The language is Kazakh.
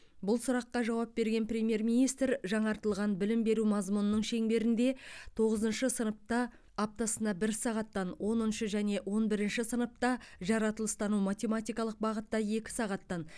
бұл сұраққа жауап берген премьер министр жаңартылған білім беру мазмұнының шеңберінде тоғызыншы сыныпта аптасына бір сағаттан оныншы және он бірінші сыныпта жаратылыстану математикалық бағытта екі сағаттан